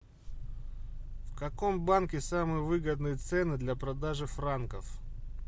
в каком банке самые выгодные цены для продажи франков